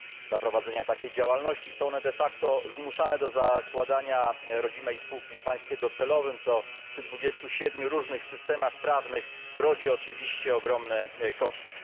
Dla prowadzenia takiej działalności są one de facto zmuszane do zakładania rodzimej spółki w państwie docelowym, co przy 27 różnych systemach prawnych rodzi oczywiście ogromne koszty.